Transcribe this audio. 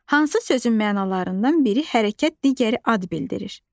Hansı sözün mənalarından biri hərəkət, digəri ad bildirir?